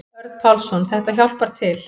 Örn Pálsson: Þetta hjálpar til.